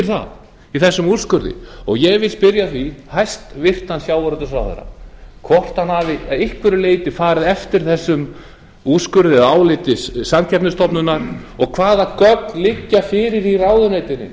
það í þessum úrskurði ég vil því spyrja hæstvirtan sjávarútvegsráðherra hvort hann hafi að einhverju leyti farið eftir þessum úrskurði eða áliti samkeppnisstofnunar og hvaða gögn liggi fyrir í ráðuneytinu